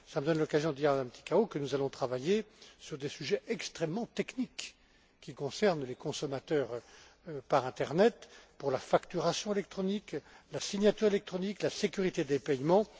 Cela me donne l'occasion de dire à Mme Ţicău que nous allons travailler sur des sujets extrêmement techniques qui concernent les consommateurs par internet pour la facturation électronique, la signature électronique, la sécurité des paiements.